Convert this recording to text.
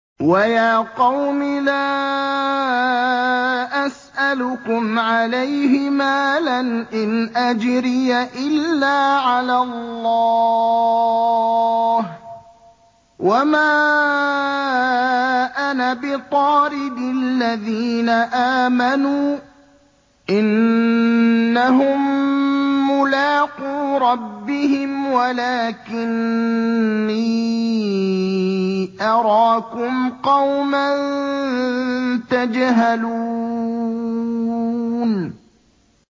وَيَا قَوْمِ لَا أَسْأَلُكُمْ عَلَيْهِ مَالًا ۖ إِنْ أَجْرِيَ إِلَّا عَلَى اللَّهِ ۚ وَمَا أَنَا بِطَارِدِ الَّذِينَ آمَنُوا ۚ إِنَّهُم مُّلَاقُو رَبِّهِمْ وَلَٰكِنِّي أَرَاكُمْ قَوْمًا تَجْهَلُونَ